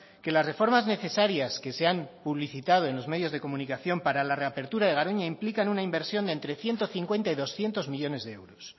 que las reformas necesarias que se han publicitado en los medios de comunicación para la reapertura de garoña implican una inversión entre ciento cincuenta y doscientos millónes de euros